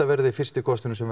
verði fyrsti kosturinn sem